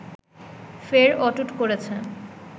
ফের অটুট করেছে